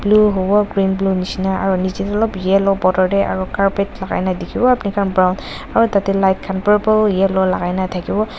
itu huwo green blue nishena aru nichey tey alop yellow border dey aru carpet lagai na dikhiwo brown aru tatey light khan purple yellow lagai na thakiwo.